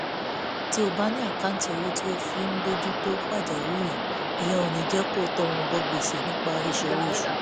tí o bá ní àkáǹtì owó tí o fi ń bójú tó pàjáwìrì ìyẹn ò ní jẹ́ kó o tọrùn bọ gbèsè nígbà ìṣòro ìṣúnná